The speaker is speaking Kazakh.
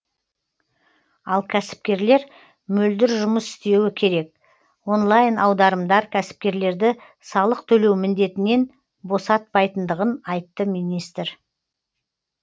ал кәсіпкерлер мөлдір жұмыс істеуі керек онлайн аударымдар кәсіпкерлерді салық төлеу міндетінен босатпайтындығын айтты министр